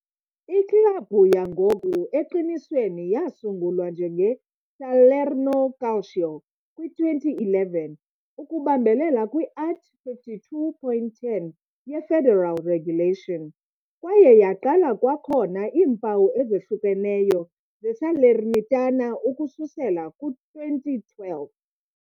Iklabhu yangoku, eqinisweni, yasungulwa njenge- "Salerno Calcio" kwi-2011, ukubambelela kwi-art. 52.10 ye-federal regulation, kwaye yaqala kwakhona iimpawu ezihlukeneyo ze-Salernitana ukususela kwi-2012.